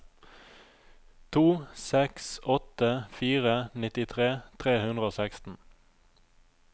to seks åtte fire nittitre tre hundre og seksten